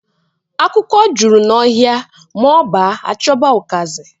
Akwụkwọ juru n'ọhịa ma ọ baa chọba ụkazi.